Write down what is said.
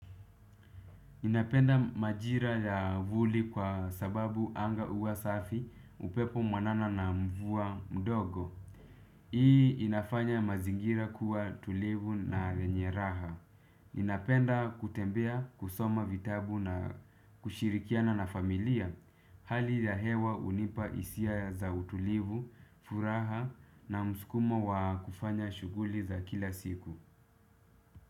Ninapenda majira ya vuli kwa sababu anga huwa safi upepo mwanana na mvua mdogo. Hii inafanya mazingira kuwa tulivu na yenye raha. Ninapenda kutembea kusoma vitabu na kushirikiana na familia. Hali ya hewa hunipa hisia za utulivu, furaha na mskumo wa kufanya shughuli za kila siku.